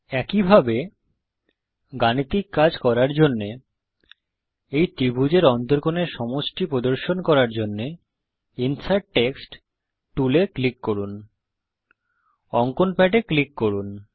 একইভাবে গাণিতিক কাজ করার জন্যে এই ত্রিভুজের অন্তকোণ এর সমষ্টি প্রদর্শন করার জন্যে ইনসার্ট টেক্সট টুল এ ক্লিক করুন অঙ্কন প্যাডে ক্লিক করুন